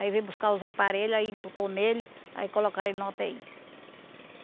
Aí veio buscar os aparelho, aí botou nele, aí colocaram ele na u tê i.